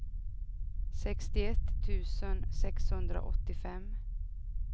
sextioett tusen sexhundraåttiofem